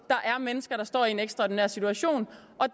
er mennesker der står en ekstraordinær situation